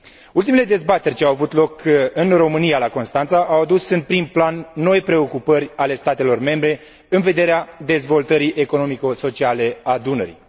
Ultimele dezbateri ce au avut loc în România, la Constanța, au adus în prim plan noi preocupări ale statelor membre în vederea dezvoltării economico sociale a Dunării.